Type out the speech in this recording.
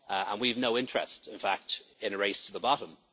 We have no interest, in fact, in a race to the bottom.